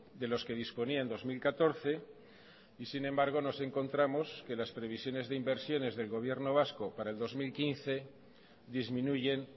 de los que disponía en dos mil catorce y sin embargo nos encontramos que las previsiones de inversiones del gobierno vasco para el dos mil quince disminuyen